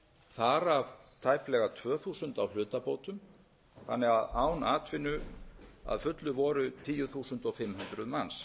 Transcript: þar af tæplega tvö þúsund á hlutabótum þannig að án atvinnu að fullu voru tíu þúsund fimm hundruð manns